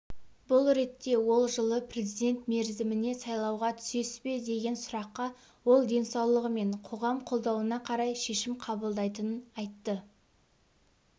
бұл ретте ол жылы президент мерзіміне сайлауға түсесіз бе деген сұраққа ол денсаулығы мен қоғам қолдауына қарай шешім қабылдайтынын айтты